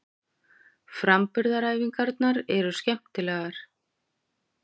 Framburðaræfingarnar eru skemmtilegar.